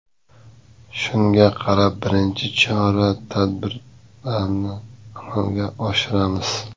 Shunga qarab birinchi chora tadbirlarini amalga oshiramiz.